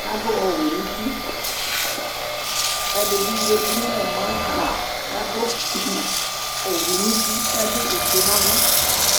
kʊ adʊ owɛ nʊ uti, edɩbɩ zati nʊ vegele yɛ ava kʊ adʊ avavlitsɛ nʊ uti nʊ ofue nʊ ava